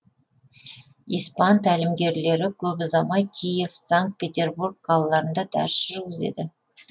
испан тәлімгерлері көп ұзамай киев санкт петербург қалаларында дәріс жүргізеді